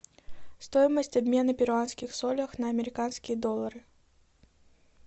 стоимость обмена перуанских солях на американские доллары